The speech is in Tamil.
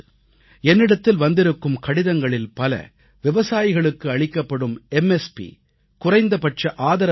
என்னிடத்தில் வந்திருக்கும் கடிதங்களில் பல விவசாயிகளுக்கு அளிக்கப்படும் குறைந்தபட்ச ஆதரவு விலை எம்